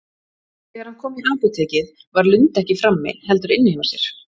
Þegar hann kom í apótekið var Lund ekki frammi, heldur inni hjá sér.